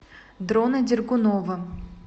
дрона дергунова